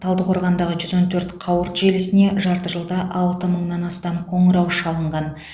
талдықорғандағы жүз он төрт қауырт желісіне жарты жылда алты мыңнан астам қоңырау шалынған